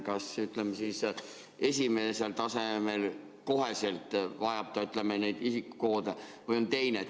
Kas kohe esimesel tasemel vajatakse isikukoodi või on mingi teine lahendus?